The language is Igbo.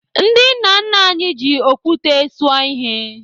Ndị nna nna anyị ji okwute suo ihe.